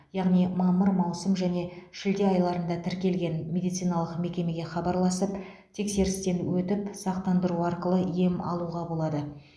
яғни мамыр маусым және шілде айларында тіркелген медициналық мекемеге хабарласып тексерістен өтіп сақтандыру арқылы ем алуға болады